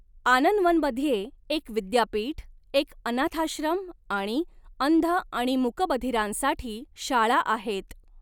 आनंदवनमध्ये एक विद्यापीठ, एक अनाथाश्रम आणि अंध आणि मूकबधिरांसाठी शाळा आहेत.